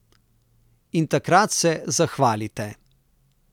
In takrat se zahvalite.